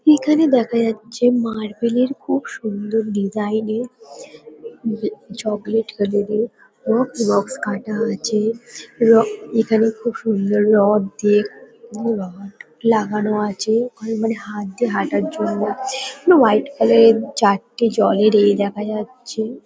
এখানে দেখা যাচ্ছে মার্বেল -এর খুব সুন্দর ডিসাইন -এর হু চকলেট কালার -এর রকস রকস কাটা আছে। র এখানে খুব সুন্দর রড দিয়ে ওরে বাবা লাগানো আছে। ওখানে মানে হাত দিয়ে হাঁটার জন্য হোয়াট কালার -এর চারটে জলের এ দেখা যাচ্ছে।